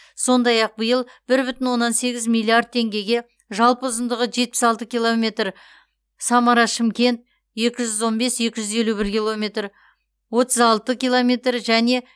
сондай ақ биыл бір бүтін оннан сегіз миллиард теңгеге жалпы ұзындығы жетпіс алты километр самара шымкент екі жүз он бес екі жүз елу бір километр отыз алты километр және